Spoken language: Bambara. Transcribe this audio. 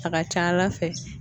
A ka c'Ala fɛ